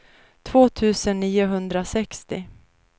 två tusen niohundrasextio